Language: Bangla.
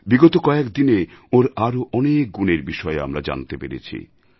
বিগত কয়েক দিনে ওঁর আরও অনেক গুণের বিষয়ে আমরা জানতে পেরেছি